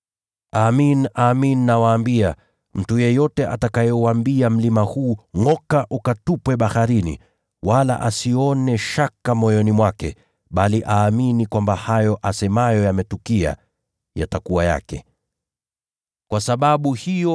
Amin, nawaambia, mtu yeyote atakayeuambia mlima huu, ‘Ngʼoka ukatupwe baharini,’ wala asione shaka moyoni mwake, bali aamini kwamba hayo asemayo yametukia, atatimiziwa.